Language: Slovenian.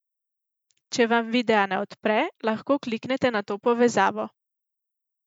Če vam videa ne odpre, lahko kliknete na to povezavo.